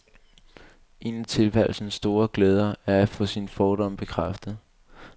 En af tilværelsens store glæder er at få sine fordomme bekræftet.